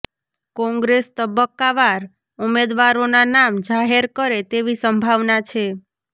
કોંગ્રેસ તબક્કાવાર ઉમેદવારોના નામ જાહેર કરે તેવી સંભાવના છે